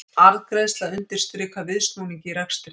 Arðgreiðsla undirstrikar viðsnúning í rekstri